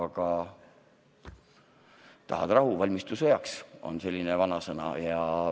Aga tahad rahu, siis valmistu sõjaks – on üks selline vanasõna.